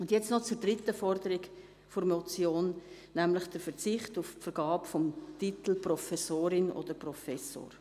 Nun noch zur dritten Forderung, nämlich zum Verzicht auf die Vergabe des Titels «Professorin» oder «Professor».